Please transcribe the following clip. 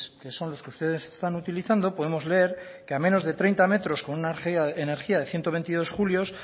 que son los que ustedes están utilizando podemos leer que a menos de treinta metros con una energía de ciento veintidós julios